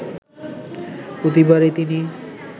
প্রতিবারই তিনি